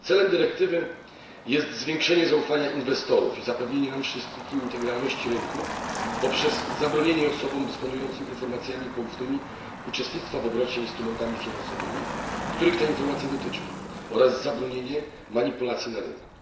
Celem dyrektywy jest zwiększenie zaufania inwestorów i zapewnienie nam wszystkim integralności rynków poprzez zabronienie osobom dysponującym informacjami poufnymi uczestnictwa w obrocie instrumentami finansowymi, których te informacje dotyczą, oraz zabronienie manipulacji na rynku.